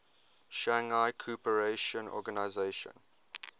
shanghai cooperation organization